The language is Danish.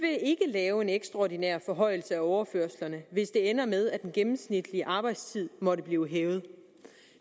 lave en ekstraordinær forhøjelse af overførslerne hvis det ender med at den gennemsnitlige arbejdstid måtte blive hævet